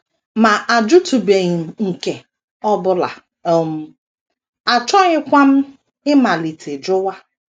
Ma ajụtụbeghị m nke ọ bụla, um achọghịkwa m ịmalite jụwa. ”